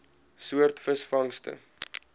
soort visvangste